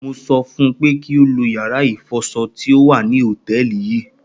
mo so fun pe ki o lo yara ifoso ti o wa ni hoteeli yii